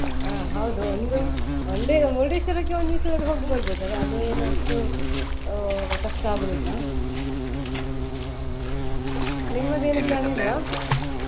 ಹ ಹೌದು ಒಂದು ಒಂದೇ ಮುರುಡೇಶ್ವರಕ್ಕೆ ಒಂದಿವಸದಲ್ಲಿ ಹೋಗಿ ಬರ್ಬೋದು ಅದು ಏನು ಅಷ್ಟು ಕಷ್ಟ ಆಗುದಿಲ್ಲಾ ನಿಮ್ದದು ಏನು plan ಇಲ್ವಾ.